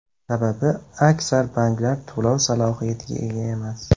Sababi, aksar banklar to‘lov salohiyatiga ega emas.